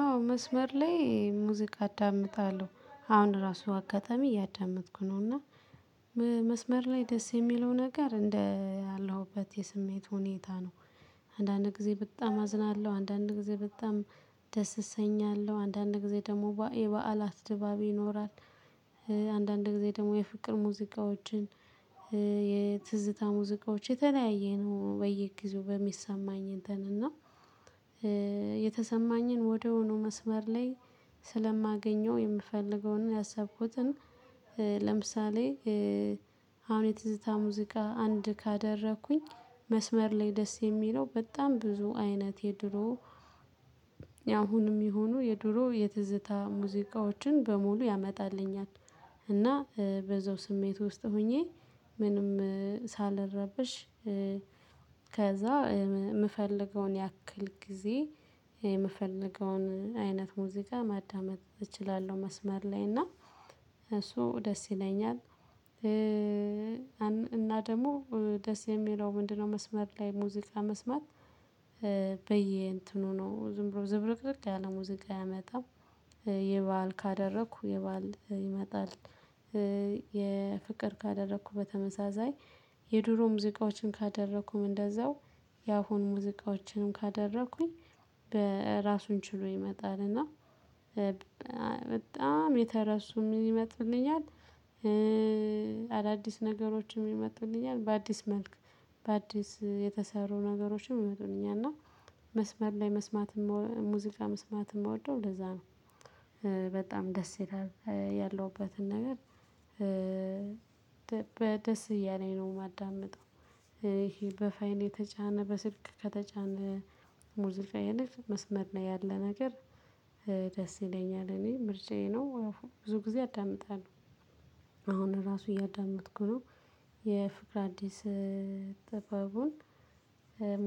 አዎ መስመር ላይ ሙዚቃ አዳምጣለሁ አሁን ራሱ አጋጣሚ እያዳመጥኩ ነው እና መስመር ላይ ደስ የሚለው ነገር እንደ ያለሁበት የስሜት ሁኔታ ነው። አንዳንድ ጊዜ በጣም አዝናለሁ አንዳንድ ጊዜ በጣም ደስ እሰኛለሁ አንዳንድ ጊዜ ደግሞ የበዓላት ድባብ ይኖራል። አንዳንድ ጊዜ ደግሞ የፍቅር ሙዚቃዎችን የትዝታ ሙዚቃዎች የተለያየ ነው በየጊዜው በሚሰማኝ እንተን እና። የተሰማኝን ወዲያውኑ መስመር ላይ ስለማገኘው የምፈልገውን ያሰብኩትን ለምሳሌ። አሁን የትዝታ ሙዚቃ አንድ ካደረኩኝ መስመር ላይ ደስ የሚለው በጣም ብዙ አይነት የድሮ ያሁንም ይሁኑ የድሮ የትዝታ ሙዚቃዎችን በሙሉ ያመጣልኛል። እና በዛው ስሜት ውስጥ ሆኜ ምንም ሳልረበሽ። ከዛ የምፈልገውን ያክል ጊዜ የምፈልገውን አይነት ሙዚቃ ማዳመጥ እችላለሁ መስመር ላይ እና እሱ ደስ ይለኛል። እና ደግሞ ደስ የሚለው ምንድነው? መስመር ላይ ሙዚቃ መስማት እንትኑ ነው ዝም ብሎ ዝብርቅርቅ ያለ ሙዚቃ አያመጣም። የበአል ካደረኩ የበአል ይመጣል። የፍቅር ካደረኩ በተመሳሳይ የድሮ ሙዚቃዎችን ካደረኩም እንደዛው የአሁን ሙዚቃዎችንም ካደረኩኝ በራሱን ችሎ ይመጣል እና። በጣም የተረሱ ምን ይመጡልኛል። አዳዲስ ነገሮችም የመጡልኛል በአዲስ መልክ በአዲስ የተሰሩ ነገሮችም የመጡልኛል። መስመር ላይ መስማትም ሙዚቃ መስማት የምወደው እንደዛ ነው። በጣም ደስ ያላል ያለሁበትን ነገር በደስ እያለኝ ነው የማዳምጠው። ይሄ በፋይን የተጫነ በስልክ ከተጫነ ሙዚቃ ይልቅ መስመር ነው ያለ ነገር። ደስ ይለኛል እኔ ምርጫዬ ነው ብዙ ጊዜ አዳምጣለሁ። አሁን ራሱ እያዳመጥኩ ነው። የፍቅር አዲስ ጥበቡን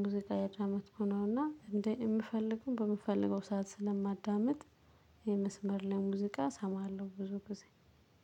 ሙዚቃ እያዳመጥኩ ነው እና እንደ የምፈልገውን በምፈልገው ሰዓት ስለማዳምጥ። የመስመር ላይ ሙዚቃ እሰማለሁ ብዙ ጊዜ።